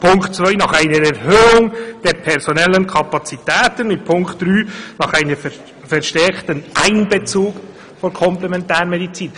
Punkt zwei fordert eine Erhöhung der personellen Kapazitäten und Punkt drei einen verstärkten Einbezug der Komplementärmedizin.